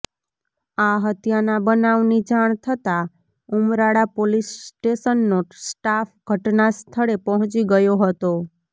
આ હત્યાના બનાવની જાણ થતાં ઉમરાળા પોલીસ સ્ટેશનનો સ્ટાફ ઘટના સ્થળે પહોંચી ગયો હતો